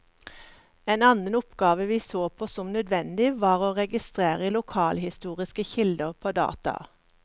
En annen oppgave vi så på som nødvendig, var å registrere lokalhistoriske kilder på data.